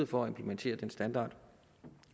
for at implementere den standard